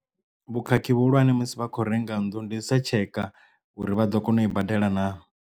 Vhukhakhi vhuhulwane musi vha khou renga nnḓu ndi sa tsheka uri vha ḓo kona u i badela naa.